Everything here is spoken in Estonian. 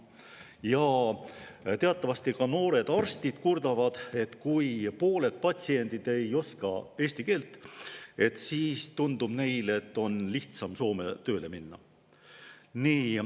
Ja teatavasti ka noored arstid kurdavad, et kui pooled patsiendid ei oska eesti keelt, siis tundub neile, et on lihtsam Soome tööle minna.